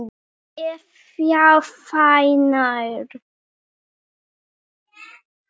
ef já hvenær??